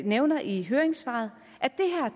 nævner i høringssvaret at